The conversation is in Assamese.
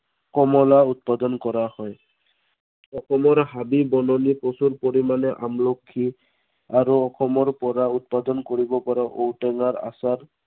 কমলা উৎপাদন কৰা হয়। অসমৰ হাবি-বননিয়ে প্ৰচুৰ পৰিমানে আমলখি, আৰু অসম পৰা উৎপাদন কৰিব পৰা ঔটেঙাৰ আচাৰ